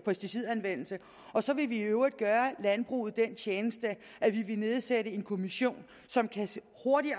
pesticidanvendelse og så vil vi i øvrigt gøre landbruget den tjeneste at vi vil nedsætte en kommission som hurtigt